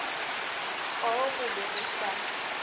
poo go be go sa